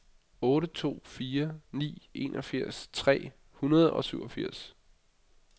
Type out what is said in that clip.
otte to fire ni enogfirs tre hundrede og syvogfirs